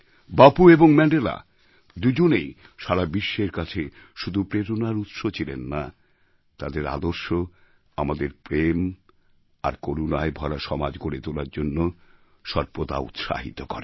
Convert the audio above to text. বাপু এবং ম্যান্ডেলাদুজনেই সারা বিশ্বের কাছে শুধু প্রেরণার উৎস ছিলেন না তাদের আদর্শ আমাদের প্রেম আর করুণায় ভরা সমাজ গড়ে তোলার জন্য সর্বদা উৎসাহিত করে